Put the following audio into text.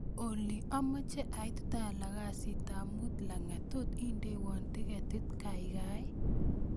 Olly amoche ait tala kasitab muut langat tot indewon tiketit kaikai